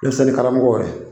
karamɔgɔ yɛrɛ